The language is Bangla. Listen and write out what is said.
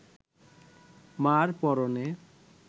মা’র পরনে